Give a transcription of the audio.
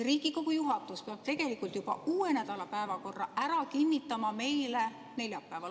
Riigikogu juhatus peab tegelikult juba uue nädala päevakorra ära kinnitama meile neljapäeval.